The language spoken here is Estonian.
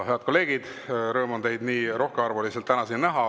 Head kolleegid, rõõm on teid nii rohkearvuliselt täna siin näha.